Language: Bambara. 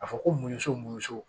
A fɔ ko munuso mun